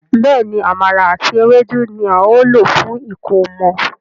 Béèni Àmàlà àti Ewédú ní ào ló fún ẹkọmọ.